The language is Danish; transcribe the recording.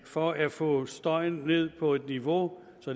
for at få støjen ned på et niveau så